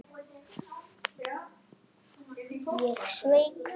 Ég sveik það.